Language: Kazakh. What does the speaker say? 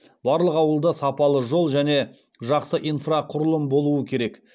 барлық ауылда сапалы жол және жақсы инфрақұрылым болуы керек